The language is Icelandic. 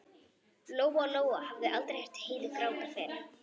Lóa-Lóa hafði aldrei heyrt Heiðu gráta fyrr.